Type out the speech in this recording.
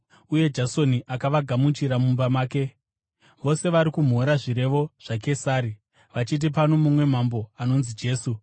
uye Jasoni akavagamuchira mumba make. Vose vari kumhura zvirevo zvaKesari, vachiti pano mumwe mambo, anonzi Jesu.”